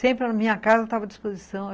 Sempre a minha casa estava à disposição.